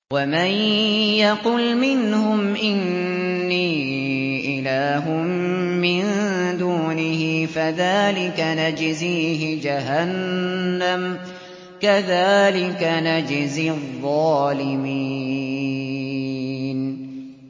۞ وَمَن يَقُلْ مِنْهُمْ إِنِّي إِلَٰهٌ مِّن دُونِهِ فَذَٰلِكَ نَجْزِيهِ جَهَنَّمَ ۚ كَذَٰلِكَ نَجْزِي الظَّالِمِينَ